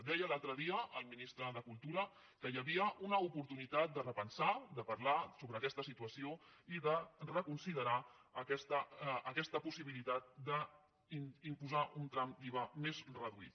deia l’altre dia el ministre de cultura que hi havia una oportunitat de repensar de parlar sobre aquesta situació i de reconsiderar aquesta possibilitat d’imposar un tram d’iva més reduït